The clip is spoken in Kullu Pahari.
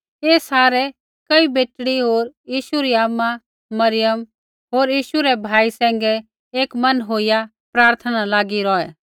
ऐ सारै कई बेटड़ी होर यीशु री आमा मरियम होर यीशु रै भाई सैंघै एक मन होईया प्रार्थना न लागी रौहै